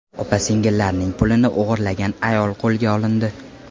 Opa-singillarning pulini o‘g‘irlagan ayol qo‘lga olindi.